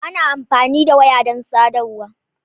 Ana amfani da waya don sadarwa.